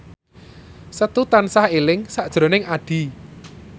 Setu tansah eling sakjroning Addie